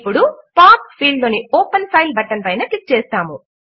ఇప్పుడు path field లో open file button పైన క్లిక్ చేస్తాము